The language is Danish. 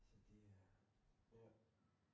Så det er hårdt